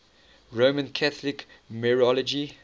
roman catholic mariology